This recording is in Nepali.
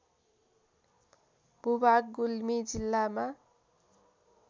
भूभाग गुल्मी जिल्लामा